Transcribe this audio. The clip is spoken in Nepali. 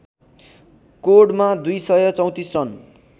कोर्डमा २ सय ३४ रन